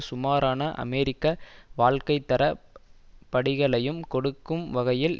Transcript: சுமாரான அமெரிக்க வாழ்க்கைத்தரப் படிகளையும் கொடுக்கும் வகையில்